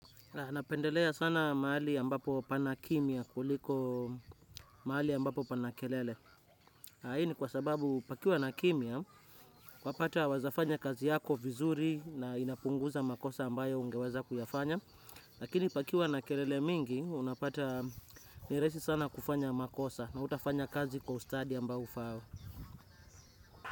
Napendelea sana mahali ambapo pana kimya kuliko mahali ambapo pana kelele. Hii ni kwa sababu pakiwa na kimya unapata unaweza fanya kazi yako vizuri na inapunguza makosa ambayo ungeweza kuyafanya. Lakini pakiwa na kelele mingi unapata ni rahisi sana kufanya makosa na hutafanya kazi kwa ustadi ambao ufaao.